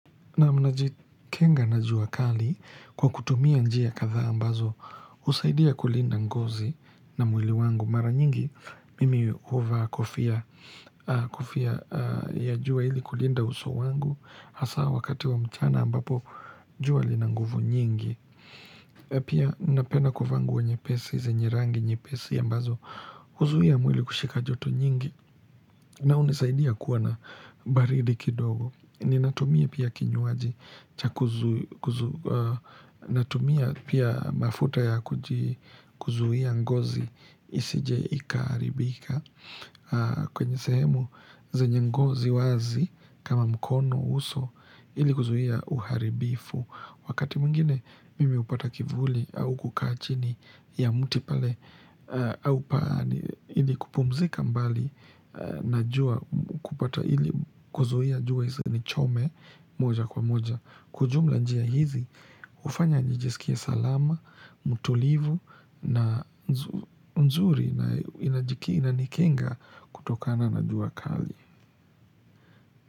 Nam naji kinga na jua kali kwa kutumia njia katha ambazo usaidia kulinda ngozi na mwili wangu mara nyingi mimi uva kofia ya jua ili kulinda uso wangu hasa wakati wa mchana ambapo jua linanguvu nyingi. Pia napena kufa nguwo nyepesi, zenye rangi nyepesi ambazo, huzuia mwili kushika joto nyingi na unisaidia kuwa na baridi kidogo. Ninatumia pia kinyuaji, natumia pia mafuta ya kuzuhia ngozi isije ikaaribika kwenye sehemu zenye ngozi wazi kama mkono uso ili kuzuhia uharibifu. Wakati muingine mimi upata kivuli au kuka chini ya muti pale au paani ili kupumzika mbali na jua kupata ili kuzuia jua izinichome moja kwa moja. Kujumla njia hizi ufanya njijisikia salama, mutulivu na nzuri na inajiki inanikenga kutokana na jua kali.